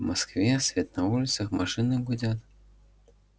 в москве свет на улицах машины гудят